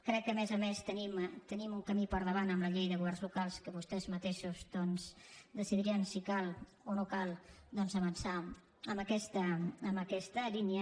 crec que a més a més tenim un camí per davant amb la llei de governs locals que vostès mateixos doncs decidiran si cal o no cal avançar en aquesta línia